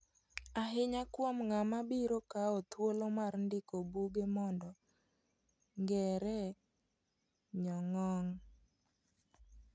Ahinya kuom ng'ama biro kao thuolo mar ndiko buge mondo ng'ere e nyong'ong'.